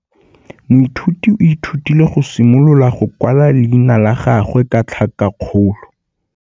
Moithuti o ithutile go simolola go kwala leina la gagwe ka tlhakakgolo.